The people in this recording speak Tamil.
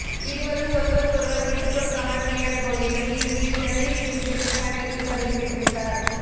இருவரும் ஒருவருக்கொருவர் விட்டுக்கொடுக்காமல் விளையாடிய போதிலும் இறுதியில் ஜனனி வெற்றி பெற்று ஃபைனலுக்கு தகுதி பெற்றுவிட்டார்